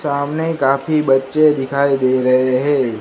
सामने काफी बच्चे दिखाई दे रहें हैं।